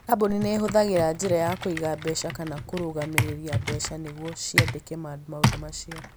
Kambuni nĩ ihũthagĩra njĩra ya kũiga mbeca kana ya kũrũgamĩrĩra mbeca nĩguo ciandĩke maũndũ macio.